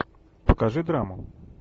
покажи драму